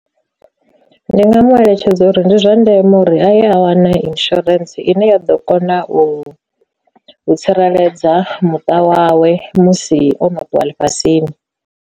Ndi nga mu eletshedza uri ndi zwa ndeme uri a ye a wana insurance ine ya ḓo kona u u tsireledza muṱa wawe musi ono ṱuwa ḽifhasini.